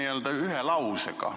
Aga ütle ühe lausega.